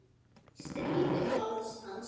Strýk um háls hans.